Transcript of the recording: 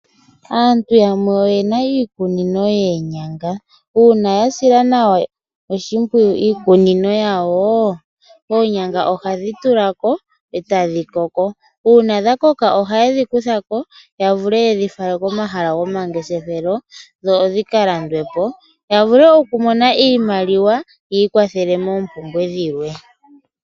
Aantu yamwe oyena iikunino yenyanga, una yasila nawa oshipwiyu iikunino yawo, oonyanga ohadhi tulako etadhikoko una dhakoka ,ohayedhi kuthako yavule yedhifale komahala gomangeshefelo dho odhikalandwepo yavule okumona iimaliwa yikwathele mopumbwe dhilwe.